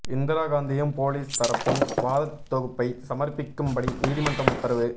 இந்திரா காந்தியும் போலீஸ் தரப்பும் வாதத் தொகுப்பை சமர்ப்பிக்கும்படி நீதிமன்றம் உத்தரவு